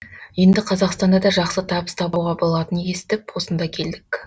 енді қазақстанда да жақсы табыс табуға болатынан естіп осында келдік